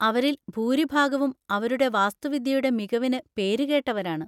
അവരിൽ ഭൂരിഭാഗവും അവരുടെ വാസ്തുവിദ്യയുടെ മികവിന് പേരുകേട്ടവരാണ്.